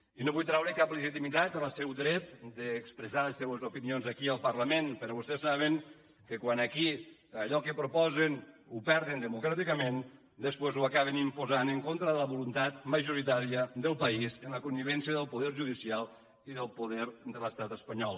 i no vull treure cap legitimitat al seu dret d’expressar les seues opinions aquí al parlament però vostès saben que quan aquí allò que proposen ho perden democràticament després ho acaben imposant en contra de la voluntat majoritària del país amb la connivència del poder judicial i del poder de l’estat espanyol